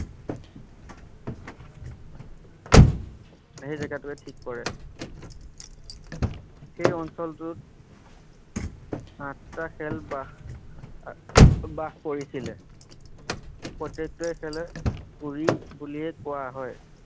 সেই জেগাটোৱে ঠিক কৰে সেই অঞ্চলটোত আঠটা খেল বাস আহ বাস কৰিছিলে প্ৰত্যেকে খেলে উৰি বুলিয়ে কোৱা হয়।